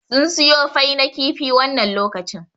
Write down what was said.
Sun suyo fai na kifi wannan lokacin